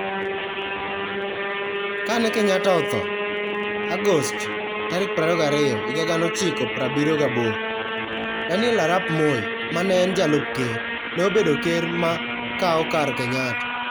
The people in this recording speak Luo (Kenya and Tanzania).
Kane Kenyatta otho (Agost 22, 1978), Daniel Arap Moi, ma ne en Jalup Ker, ne obedo ker ma kawo kar Kenyatta.